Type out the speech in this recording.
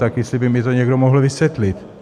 Tak jestli by mi to někdo mohl vysvětlit.